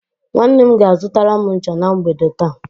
Nwanne m ga-azụtara m ncha na mgbede taa.